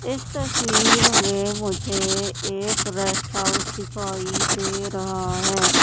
इस तस्वीर में मुझे एक रेस्ट हाउस दिखाई दे रहा है।